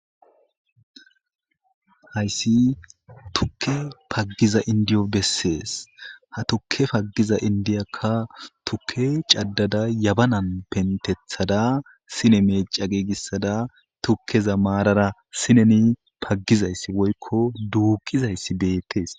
Hayissi tukke pagiza indiyo besses ha tukke pagiza indiyakka tuke cadada yabanan penteththada sine mecca gigisada tukeza marara sinezan pagizayssa woyikko duqizayss bettes